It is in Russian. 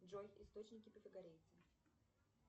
джой источники пифагорейцев